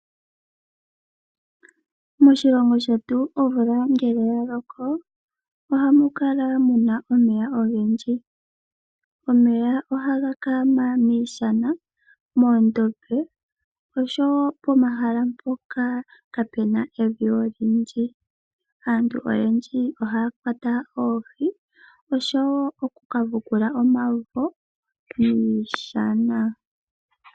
Moshilongo shetu omvula ngele ya loko ohamu kala mu na omeya ogendji. Omeya ohaga kaama miishana, moondombe oshowo pomahala mpoka kaapu na evi olindji. Aantu oyendji ohaya kwata oohi oshoowo okuvukula omavo momadhiya.